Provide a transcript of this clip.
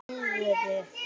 Í alvöru!?